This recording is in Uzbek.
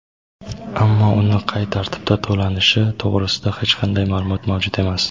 ammo uni qay tartibda to‘lanishi to‘g‘risida hech qanday ma’lumot mavjud emas.